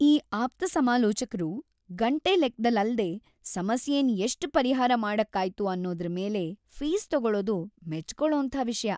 ಈ ಆಪ್ತಸಮಾಲೋಚಕ್ರು ಗಂಟೆ ಲೆಕ್ದಲ್ಲ್ ಅಲ್ದೇ ಸಮಸ್ಯೆನ್ ಎಷ್ಟ್‌ ಪರಿಹಾರ ಮಾಡಕ್ಕಾಯ್ತು ಅನ್ನೋದ್ರ್‌ ಮೇಲೆ ಫೀಸ್‌ ತಗೊಳೋದು ಮೆಚ್ಕೊಳೋಂಥ ವಿಷ್ಯ.